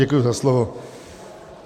Děkuji za slovo.